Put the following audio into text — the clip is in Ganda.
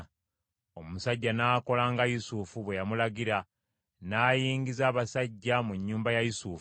Omusajja n’akola nga Yusufu bwe yamulagira, n’ayingiza abasajja mu nnyumba ya Yusufu.